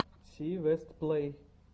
си вест плей